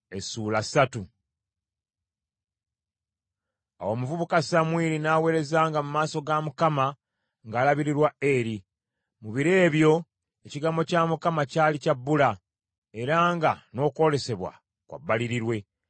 Awo omuvubuka Samwiri n’aweerezanga mu maaso ga Mukama ng’alabirirwa Eri. Mu biro ebyo ekigambo kya Mukama kyali kya bbula, era nga n’okwolesebwa kwa bbalirirwe.